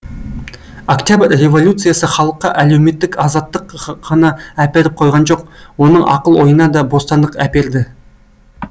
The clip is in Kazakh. октябрь революциясы халыққа әлеуметтік азаттық қана әперіп қойған жоқ оның ақыл ойына да бостандық әперді